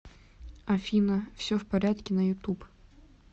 афина все в порядке на ютуб